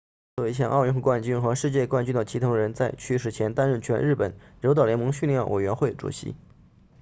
作为前奥运冠军和世界冠军的齐藤仁在去世前担任全日本柔道联盟训练委员会主席